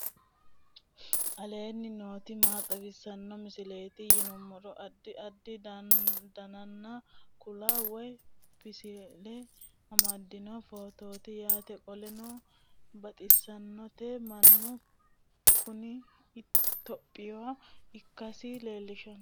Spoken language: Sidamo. aleenni nooti maa xawisanno misileeti yinummoro addi addi dananna kuula woy biinsille amaddino footooti yaate qoltenno baxissannote mannu kuni topiya ikkansa lelishshannoho